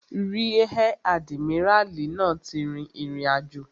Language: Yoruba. Ríẹ̀ àdìmíràlí náà ti rìn ìrìnàjò